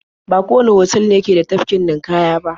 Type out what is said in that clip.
Ba kowanne otal ne ke da tafkin ninƙaya ba.